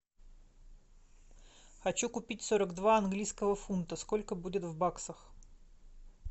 хочу купить сорок два английского фунта сколько будет в баксах